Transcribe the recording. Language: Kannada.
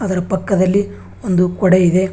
ಇದರ ಪಕ್ಕದಲ್ಲಿ ಒಂದು ಕೊಡೆ ಇದೆ.